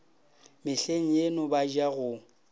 mehleng yeno ba ja go